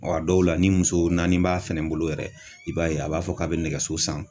Wa a dɔw la, ni muso naani b'a fɛnɛ bolo yɛrɛ, i b'a ye a b'a fɔ k'a bɛ nɛgɛso san